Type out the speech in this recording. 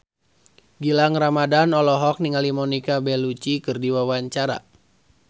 Gilang Ramadan olohok ningali Monica Belluci keur diwawancara